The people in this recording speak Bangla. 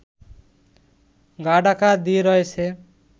গা ঢাকা দিয়ে রয়েছে